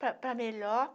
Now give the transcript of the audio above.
para para melhor.